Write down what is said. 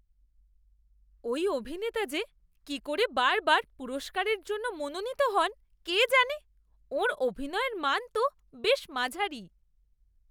ওই অভিনেতা যে কি করে বারবার পুরস্কারের জন্য মনোনীত হন কে জানে। ওঁর অভিনয়ের মান তো বেশ মাঝারি।